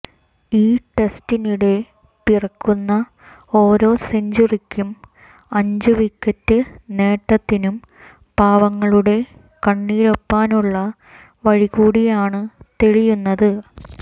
ഈ ടെസ്റ്റിനിടെ പിറക്കുന്ന ഓരോ സെഞ്ചുറിക്കും അഞ്ചു വിക്കറ്റ് നേട്ടത്തിനും പാവങ്ങളുടെ കണ്ണീരൊപ്പാനുള്ള വഴികൂടിയാണ് തെളിയുന്നത്